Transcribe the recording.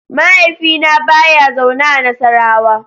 Mahaifina ba ya zaune a Nassarawa.